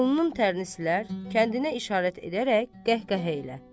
Alnının tərini silər, kəndinə işarət edərək qəhqəhə ilə.